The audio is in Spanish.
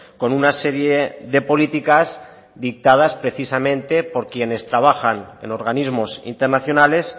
con una serie de políticas dictadas precisamente por quienes trabajan en organismos internacionales